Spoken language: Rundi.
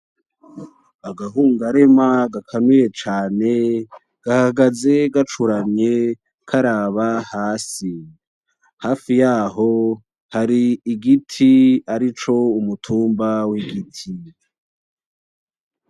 Agahungarema gakanuye cane gahagaze gacuramye karaba hasi. Hafi yaho hari igiti arico umutumba w'igiti.